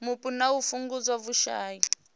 mupo na u fhungudza vhushai